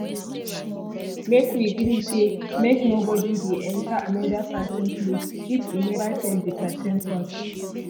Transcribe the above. make we gree say make nobodi dey enta anoda pesin place if e neva tell di pesin first